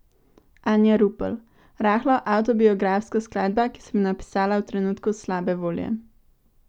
Anja Rupel: 'Rahlo avtobiografska skladba, ki sem jo napisala v trenutku slabe volje.